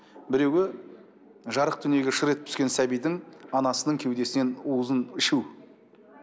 біреуі жарық дүниеге шыр етіп түскен сәбидің анасының кеудесінен уызын ішу